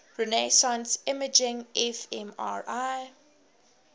resonance imaging fmri